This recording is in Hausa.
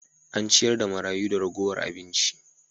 An ciyar da marayu da ragowar abinci.